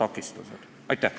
Aitäh!